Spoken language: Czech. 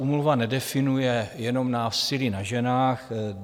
Úmluva nedefinuje jenom násilí na ženách.